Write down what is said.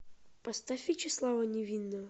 поставь вячеслава невинного